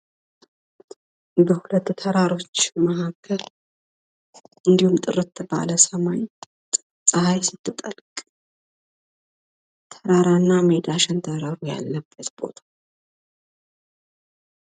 በሁለት ተራራዎች መካከል፤ እንዲሁም ጥርት ባለ ሰማይ ጸሃይ ስትጠልቅ፣ ተራራና ሜዳ ሸንተረሩ ያለበት ምስል ነው።